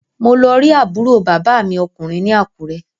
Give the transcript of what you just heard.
Mo lọ rí àbúrò bàbá mi ọkùnrin ní Àkúrẹ́